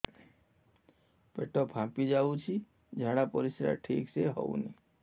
ପେଟ ଫାମ୍ପି ଯାଉଛି ଝାଡ଼ା ପରିସ୍ରା ଠିକ ସେ ହଉନି